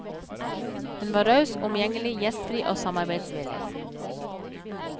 Hun var raus, omgjengelig, gjestfri og samarbeidsvillig.